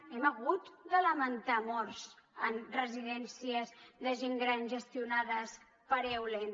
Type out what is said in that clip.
hem hagut de lamentar morts en residències de gent gran gestionades per eulen